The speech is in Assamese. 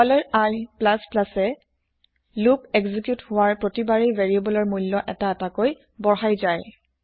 i এ লোপ একজিক্যুত হোৱাৰ প্ৰতিবাৰেই ভেৰিয়েবলৰ মূল্য এটা এটাকৈ বঢ়াই যায়